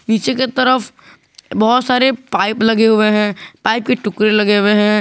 पीछे की तरफ बहुत सारे पाइप लगे हुए हैं पाइप के टुकड़े लगे हुए हैं।